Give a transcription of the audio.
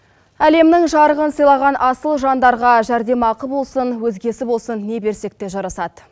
әлемнің жарығын сыйлаған асыл жандарға жәрдем ақы болсын өзгесі болсын не берсек те жарасады